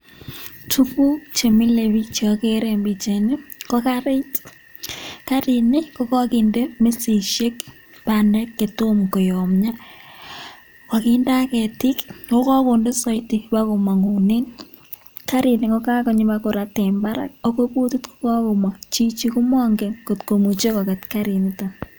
Tuguk chemile biik cheogere ne pichaini ko karit. Karini kogokinde mesishek; bandek che tomokoyomnyo. Koginde ak ketik ago kagonde soiti bagomong'unen. Karini ko kagonyi bagorat en barak. Ago butit ko kagomong. Chichi ko mongen kot komuche koget karinito.